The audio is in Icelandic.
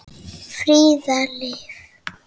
Fríða Liv.